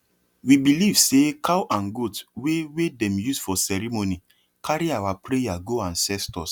we believe say cow and goat wey wey dem use for ceremony carry our prayer go ancestors